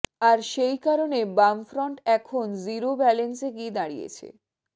আর সেই কারনে বামফ্রন্ট এখন জিরো ব্যালেন্সে গিয়ে দাড়িয়েছে